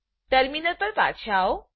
terminal પર પાછા આવો